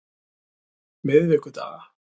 miðvikudaga